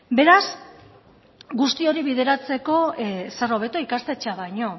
beraz guzti hori bideratzeko zer hobeto ikastetxea baino